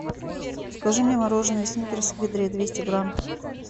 закажи мне мороженое сникерс в ведре двести грамм